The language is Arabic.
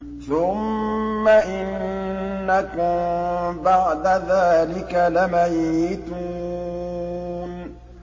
ثُمَّ إِنَّكُم بَعْدَ ذَٰلِكَ لَمَيِّتُونَ